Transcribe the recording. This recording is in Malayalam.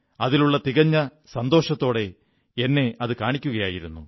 അതിലുള്ള തികഞ്ഞ സന്തോഷത്തോടെ എന്നെ അതു കാണിക്കുകയായിരുന്നു